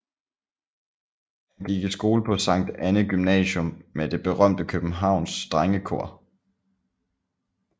Han gik i skole på Sankt Annæ Gymnasium med det berømte Københavns drengekor